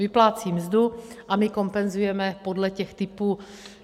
Vyplácí mzdu a my kompenzujeme podle těch typů.